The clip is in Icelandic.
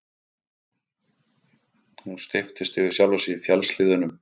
Hún steyptist yfir sjálfa sig í fjallshlíðunum.